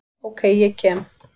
Ok, ég kem.